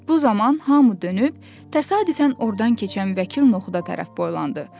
Bu zaman hamı dönüb təsadüfən ordan keçən vəkil Noxuda tərəf boylandı.